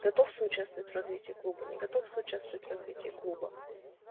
готов соучаствовать в развитии клуба не готов соучаствовать в развитии клуба